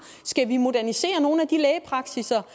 skal vi modernisere nogle af de lægepraksisser